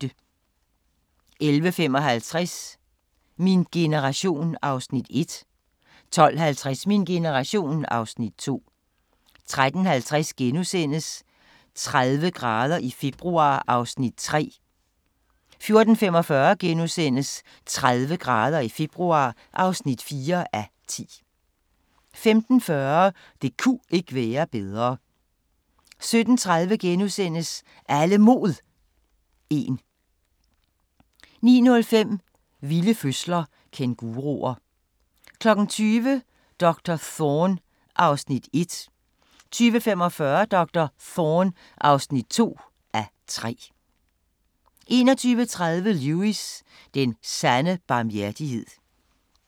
11:55: Min generation (Afs. 1) 12:50: Min generation (Afs. 2) 13:50: 30 grader i februar (3:10)* 14:45: 30 grader i februar (4:10)* 15:40: Det ku' ikke være bedre 17:30: Alle Mod 1 * 19:05: Vilde fødsler – Kænguruer 20:00: Doktor Thorne (1:3) 20:45: Doktor Thorne (2:3) 21:30: Lewis: Den sande barmhjertighed